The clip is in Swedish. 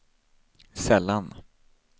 sällan